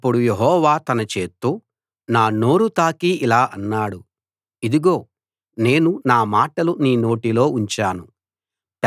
అప్పుడు యెహోవా తన చేత్తో నా నోరు తాకి ఇలా అన్నాడు ఇదిగో నేను నా మాటలు నీ నోటిలో ఉంచాను